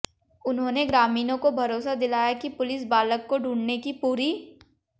उन्होंने ग्रामीणों को भरोसा दिलाया कि पुलिस बालक को ढूंढऩे की पूरी